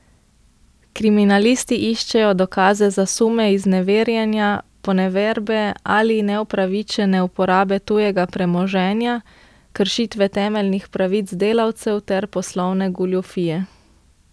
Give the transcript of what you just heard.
Kriminalisti iščejo dokaze za sume izneverjanja, poneverbe ali neupravičene uporabe tujega premoženja, kršitve temeljnih pravic delavcev ter poslovne goljufije.